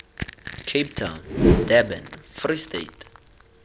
cape town durban free state